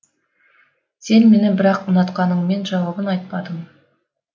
сен мені бірақ ұнатқаныңмен жауабын айтпадың